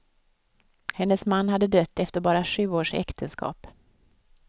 Hennes man hade dött efter bara sju års äktenskap.